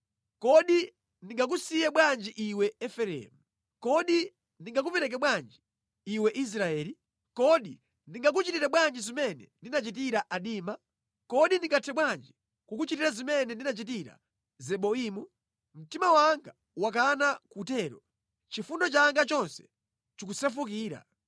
“Kodi ndingakusiye bwanji iwe Efereimu? Kodi ndingakupereke bwanji iwe Israeli? Kodi ndingakuchitire bwanji zimene ndinachitira Adima? Kodi ndingathe bwanji kukuchitira zimene ndinachitira Zeboimu? Mtima wanga wakana kutero; chifundo changa chonse chikusefukira.